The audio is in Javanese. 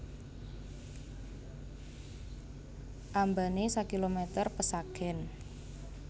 Ambané sakilomèter pesagèn